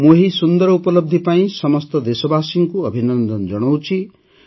ମୁଁ ଏହି ସୁନ୍ଦର ଉପଲବ୍ଧି ପାଇଁ ସମସ୍ତ ଦେଶବାସୀଙ୍କୁ ଅଭିନନ୍ଦନ ଜଣାଉଛି